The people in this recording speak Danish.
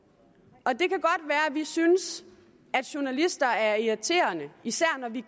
synes at journalister er irriterende især når vi